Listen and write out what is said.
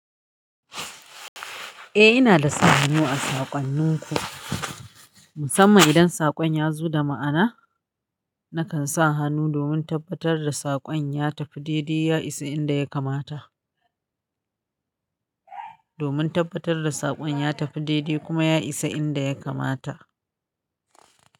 Eh ina da sa hannu a saƙonnin ku, musamman idan saƙon ya zo da ma'ana, nakan sa hannu domin tabbatar da saƙon ya tafi daidai, ya isa inda ya kamata. Domin tabbatar da saƙon ya tafi daidai kuma ya isa inda ya kamata.